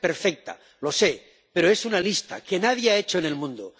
No es perfecta —lo sé— pero es una lista que nadie ha hecho en el mundo.